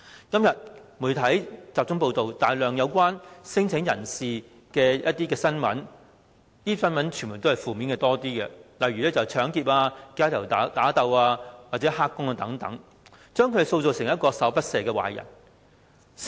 今天，媒體大量報道與聲請者有關的新聞，當中以負面居多，例如搶劫、街頭打鬥或"黑工"等，將他們塑造成十惡不赦的壞人。